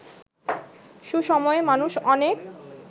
সুসময়ে মানুষ অনেক